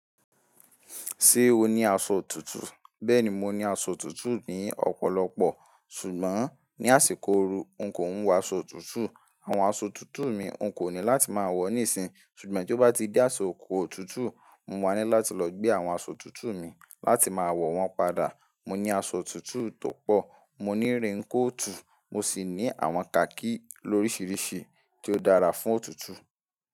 Ṣé o ní aṣọ tuntun? Bẹ́ẹ̀ni, mo ní aṣọ òtútù ní ọ̀pọ̀lọpọ̀, ṣùgbọ́n ní àsìkò ooru n kò n wọ aṣọ òtútù. Àwọn aṣọ òtútù mi n kò ní láti máa wọ̀ níìsín, ṣùgbọ́n bí ó bá ti di asiko ọ̀tùtù, mo wà ní láti lọ gbé àwọn aṣọ òtútù mi láti máa wọ̀ wọn padà. Mo ní aṣọ òtútù tó pọ̀, mo ní rainkóòtù, mo sì ní àwọn kakí lóríṣiríṣi tí ó dára fún ọ̀tútù.